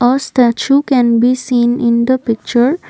a statue can be seen in the picture.